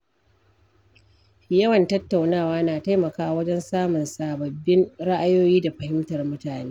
Yawan tattaunawa na taimakawa wajen samun sababbin ra’ayoyi da fahimtar mutane.